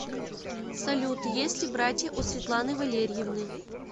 салют есть ли братья у светланы валерьевны